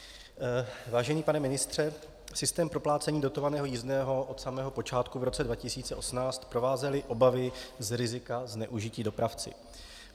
Vážený pane ministře, systém proplácení dotovaného jízdného od samého počátku v roce 2018 provázely obavy z rizika zneužití dopravci.